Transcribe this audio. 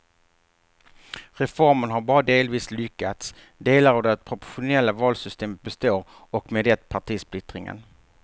Reformen har bara delvis lyckats, delar av det proportionella valsystemet består och med det partisplittringen.